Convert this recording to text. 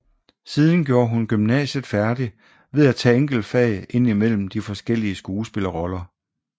Siden gjorde hun gymnasiet færdig ved at tage enkeltfag indimellem de forskellige skuespillerroller